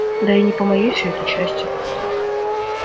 да и не по моей всё это части